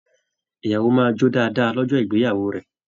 Ìyàwó máa jó dáadáa lọ́jọ́ ìgbéyàwó rẹ̀